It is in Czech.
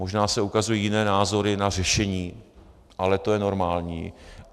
Možná se ukazují jiné názory na řešení, ale to je normální.